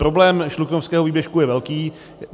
Problém Šluknovského výběžku je velký.